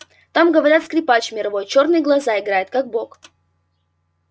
там говорят скрипач мировой чёрные глаза играет как бог